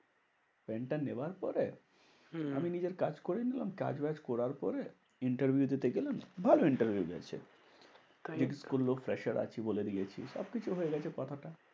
পেনটা নেওয়ার পরে হম আমি নিজের কাজ করে নিলাম কাজ বাজ করার পরে interview দিতে গেলাম। ভালো interview হয়েছে। বলেদিয়েছি সবকিছু হয়েগেছে কথাটা।